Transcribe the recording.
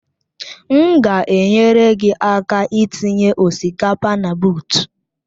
M ga-enyere gị aka itinye osikapa na buut